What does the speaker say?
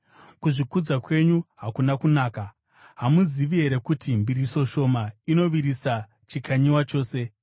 Kuzvikudza kwenyu hakuna kunaka. Hamuzivi here kuti mbiriso shoma inovirisa chikanyiwa chose?